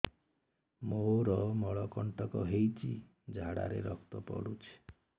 ମୋରୋ ମଳକଣ୍ଟକ ହେଇଚି ଝାଡ଼ାରେ ରକ୍ତ ପଡୁଛି